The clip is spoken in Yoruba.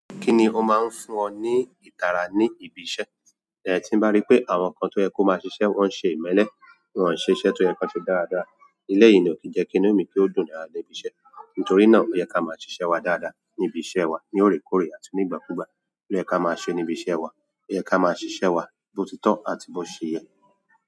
Kí ni ó máa ń fún ọ ní ìtara ní ibi iṣẹ́? Lẹ́ẹ̀tí bá rí pé àwọn kan tó yẹ kó máa ṣiṣẹ́ wọ́n ṣe ìmẹ́lẹ́, wọ́n ò ṣe iṣẹ́ tó yẹ kí wọ́n ṣe dáradára. Ilẹ̀ yìí ni kò jẹ́ kí inú mi kú dùn lórí ibi iṣẹ́. Nítorí náà o ye ki a maa sise wa dáadáa nibi iṣẹ́ wa lóòrèkóòrè àti nígbà ku gba. Ó yẹ kí a máa ṣe ní ibi iṣẹ́ wa, ó yẹ kí a máa ṣiṣẹ́ wa bó ti tọ́ àti bó ṣe yẹ.